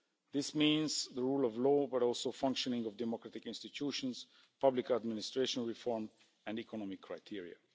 This means the rule of law, but also functioning of democratic institutions, public administration reform and economic criteria.